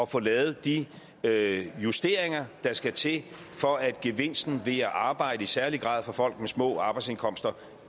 få lavet de justeringer der skal til for at gevinsten ved at arbejde i særlig grad for folk med små arbejdsindkomster